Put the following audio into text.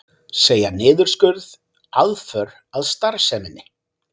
Segja niðurskurð aðför að starfseminni